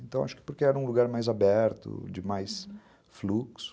Então, acho que porque era um lugar mais aberto, uhum, de mais fluxo.